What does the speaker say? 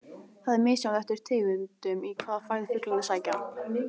Það er misjafnt eftir tegundum í hvaða fæðu fuglarnir sækja.